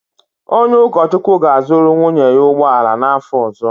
Onye ụkọchukwu ga-azụrụ nwunye ya ụgbọ ala n’afọ ọzọ.